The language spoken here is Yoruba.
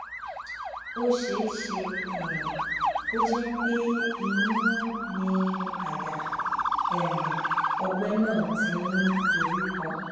ó ṣeé ṣe um kó jé pé inú ni àyà um ọgbẹ náà ti ń dorí kọ